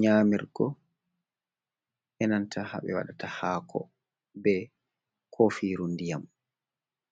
nyamirgo e nanta ha ɓe watta hako be kofiru ndiyam.